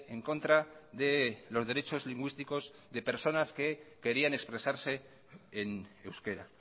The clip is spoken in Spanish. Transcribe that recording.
en contra de los derechos lingüísticos de personas que querían expresarse en euskera